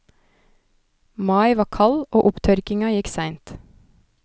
Mai var kald og opptørkinga gikk seint.